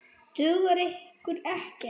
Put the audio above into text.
Dugar ykkur ekkert?